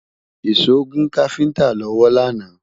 ìsọ gùn kafinta lọwọ lànà